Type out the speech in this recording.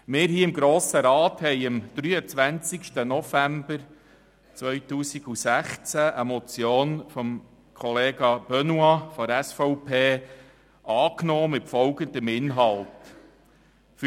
Wir haben im Grossen Rat am 23. November 2016 die Motion 091-2016 von Grossrat Benoit (SVP) mit folgendem Inhalt angenommen: